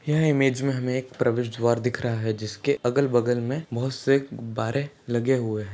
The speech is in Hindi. यह ईमेज में हमे एक प्रवेश द्वार दिख रहा है जिसके अगल-बगल मे बहोत से गुब्बारे लगे हुए है।